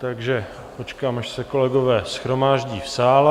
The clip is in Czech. Takže počkám, až se kolegové shromáždí v sále.